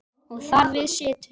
Og þar við situr.